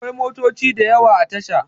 Akwai motoci da yawa a tasha